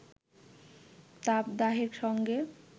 তাপদাহের সঙ্গে